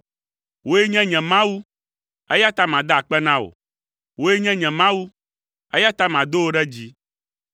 Wòe nye nye Mawu, eya ta mada akpe na wò; wòe nye nye Mawu, eya ta mado wò ɖe dzi.